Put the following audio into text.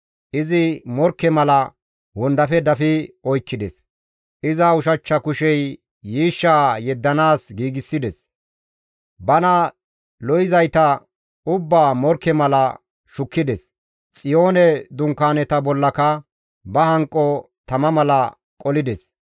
Izi morkke mala wondafe dafi oykkides; iza ushachcha kushey yiishshaa yeddanaas giigsides; bana lo7izayta ubbaa morkke mala shukkides; Xiyoone dunkaaneta bollaka ba hanqo tama mala qolides.